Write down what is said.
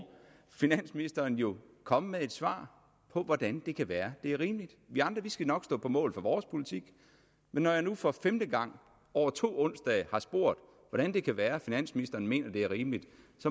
finansministeren jo komme med et svar på hvordan det kan være at det er rimeligt vi andre skal nok stå på mål for vores politik når jeg nu for femte gang over to onsdage har spurgt hvordan det kan være at finansministeren mener det er rimeligt